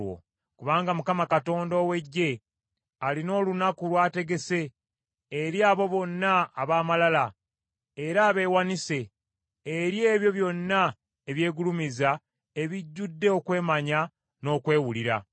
Kubanga Mukama Katonda ow’Eggye alina olunaku lw’ategese eri abo bonna ab’amalala era abeewanise, eri ebyo byonna eby’egulumiza ebijjudde okwemanya n’okwewulira.